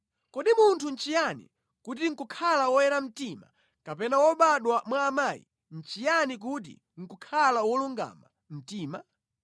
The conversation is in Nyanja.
“Kodi munthu nʼchiyani kuti nʼkukhala woyera mtima kapena wobadwa mwa amayi nʼchiyani kuti nʼkukhala wolungama mtima?